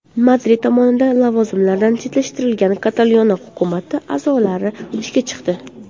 Madrid tomonidan lavozimlaridan chetlashtirilgan Kataloniya hukumati a’zolari ishga chiqdi.